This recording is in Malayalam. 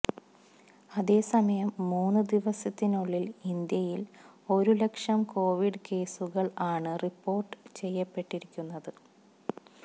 അതേസമയം മൂന്ന് ദിവസത്തിനുള്ളില് ഇന്ത്യയില് ഒരു ലക്ഷം കോവിഡ് കേസുകള് ആണ് റിപ്പോര്ട്ട് ചെയ്യപ്പെട്ടിരിക്കുന്നത്